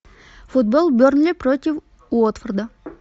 футбол бернли против уотфорда